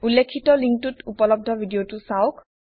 উল্লেখিত লিংকটোত উপলবদ্ধ ভিডিঅটো চাওঁক